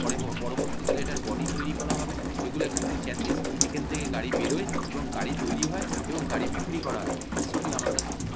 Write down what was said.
পরে ব পরবর্তী কালে এটার বডি তৈরী করা হবে। এগুলো এক একটা চ্যাসিস এখান থেকে গাড়ি বেরোয় এবং গাড়ি তৈরী হয় এবং গাড়ি বিক্রি করা হয় দৃশ্যটি আমার কাছে খুব ভা--